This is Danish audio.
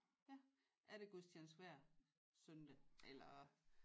Ja er der gudstjeneste hver søndag eller